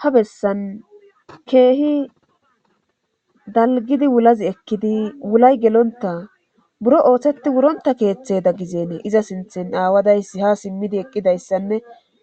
ha bessan keehi dalgidi wulazi ekkidi wulay gelonta buro ooththetti wuronta keeththe da gizeenee iza sinthen aawadayssi ha simmidi eqqidayssanne